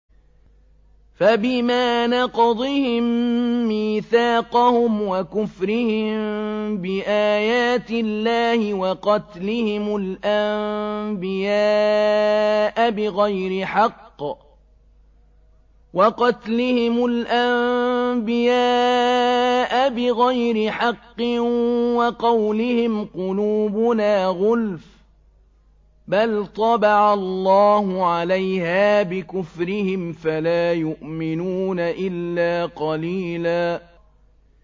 فَبِمَا نَقْضِهِم مِّيثَاقَهُمْ وَكُفْرِهِم بِآيَاتِ اللَّهِ وَقَتْلِهِمُ الْأَنبِيَاءَ بِغَيْرِ حَقٍّ وَقَوْلِهِمْ قُلُوبُنَا غُلْفٌ ۚ بَلْ طَبَعَ اللَّهُ عَلَيْهَا بِكُفْرِهِمْ فَلَا يُؤْمِنُونَ إِلَّا قَلِيلًا